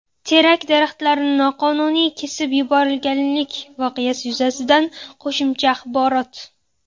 Terak daraxtlarini noqonuniy kesib yuborilganlik voqeasi yuzasidan qo‘shimcha axborot.